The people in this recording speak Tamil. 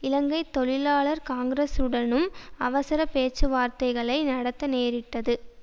இலங்கை தொழிலாளர் காங்கிரசுடனும் அவசர பேச்சுவார்த்தைகளை நடத்த நேரிட்டது